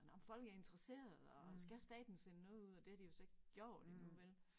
Nåh men folk er interesseret og skal staten sende noget ud og det har de jo så ikke gjort endnu vel